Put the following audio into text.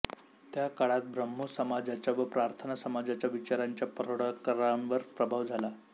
त्या काळात ब्राम्हो समाजाच्या व प्रार्थना समाजाच्या विचारांचा परळकरांवर प्रभाव झाला